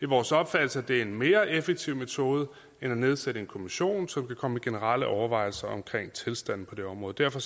vores opfattelse at det er en mere effektiv metode end at nedsætte en kommission som kan komme med generelle overvejelser om tilstanden på det område derfor